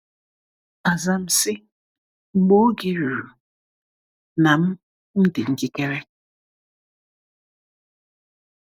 “Aza m sị, ‘Mgbe oge ruru na m m dị njikere.’”